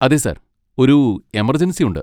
അതെ സാർ, ഒരു എമർജൻസി ഉണ്ട്.